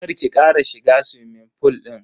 Kar ki kara shiga suwimin fool din.